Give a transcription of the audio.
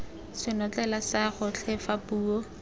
senotlele sa gotlhe fa puo